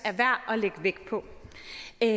er